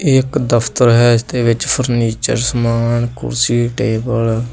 ਏ ਇੱਕ ਦਫਤਰ ਹੈ ਇਸਦੇ ਵਿੱਚ ਫਰਨੀਚਰ ਸਮਾਨ ਕੁਰਸੀ ਟੇਬਲ --